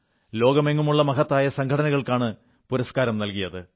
ലോകമെങ്ങുമുള്ള മഹത്തായ സംഘടനകൾക്കാണ് പുരസ്കാരം നല്കിയത്